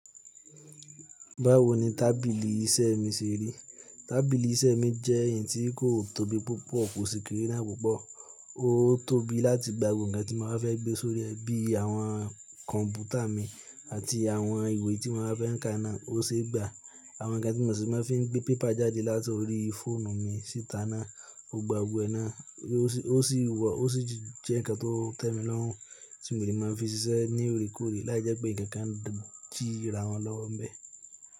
Báwo ni tábìlì iṣẹ́ mi ṣe rí? Tábìlì iṣẹ́ mi jẹ́ ẹ̀yì tí kò tóbi púpọ̀, kò sì kéré náà púpọ̀. Ó tóbi láti gba gbogbo ǹnkan tí mo bá fẹ́ gbé sórí ẹ bíi àwọn kọ̀m̀pútà mi àti àwọn ìwé tí mo máa fẹ́ kà náà, ó sì gba àwọn ǹnkan tí mo sì máa fi n gbé pépà jáde láti orí fóònù mi síta náà, ó gba gbogbo ẹ̀ náà yi o si. Ó sì wọ̀, ó sì jẹ́ ǹnkan tó tẹ́mi lọ́rùn tí mo lè máa fi ṣiṣẹ́ ní òorekoòre láì jẹ́ pé ǹnkan kan dira wọn lọ́wọ́ ń bẹ́.